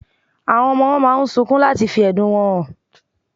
Awón ọmọ owó máa sunkún láti fí ẹ̀dùn wọn hàn